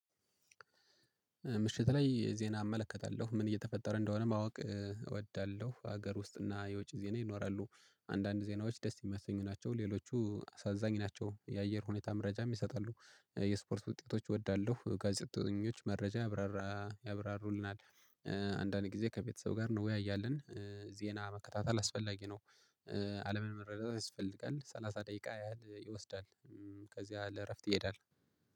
ምሽት ላይ ዜና አመለከታለሁ ምን እየተፈጠረ እንደሆነ ማወቅ እወዳለሁ ሀገር ውስጥ እና የውጭ ዜና ይኖራሉ። አንዳንድ ዜናዎች ደስ የሚያሰኙ ናቸው ሌሎቹ አሳዛኝ ናቸው የአየር ሁኔታ መረጃም ይሰጣሉ። የስፖርት ውጤቶች እወዳለሁ ጋዜጠኞች መረጃ ያብራራ ያብራሩልናል። አንዳንድ ጊዜ ከቤተሰቡ ጋር እንወያያልን። ዜና መከታተል አስፈላጊ ነው። አለምን መረዳት ያስፈልጋል ሰላሳ ደቂቃ ያህል ይወስዳል። ከዚያ ለእረፍት ይሄዳል